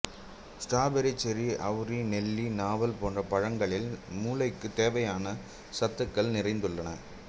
strawberry cherry அவுரி நெல்லி நாவல் போன்ற பழங்களில் மூளைக்கு தேவையான சத்துக்கள் நிறைந்துள்ளன